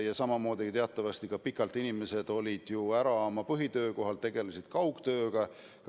Ja samamoodi ka see, et teatavasti olid inimesed ju pikalt oma põhitöökohalt ära, tegid kaugtööd.